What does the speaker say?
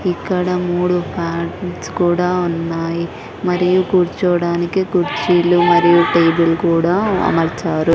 ఇక్కడ మూడు ఫ్యాన్స్ కూడా ఉన్నాయి మరియు కూర్చోవడానికి కుర్చీలు మరియు టేబుల్ కూడా అమర్చారు.